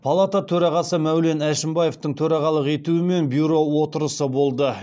палата төрағасы мәулен әшімбаевтың төрағалық етуімен бюро отырысы болды